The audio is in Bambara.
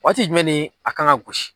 Waati jumɛn ne a kan ga gosi